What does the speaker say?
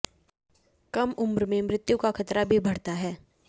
कम उम्र में मृत्यु का खतरा भी बढ़ता है